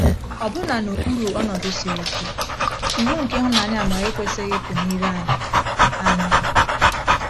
Ọbụna n’okpuru ọnọdụ siri ike, iwu nke ịhụnanya-amara ekwesịghị ịpụ n’ire anyị. anyị.